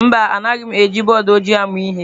Mba Anaghị m eji bọọdụ ojii amụ ihe.